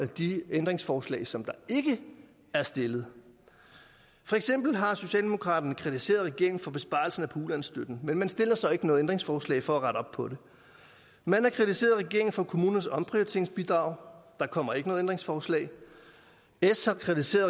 de ændringsforslag som der ikke er stillet for eksempel har socialdemokraterne kritiseret regeringen for besparelserne på ulandsstøtten men man stiller så ikke noget ændringsforslag for at rette op på det man har kritiseret regeringen for kommunernes omprioriteringsbidrag der kommer ikke noget ændringsforslag s har kritiseret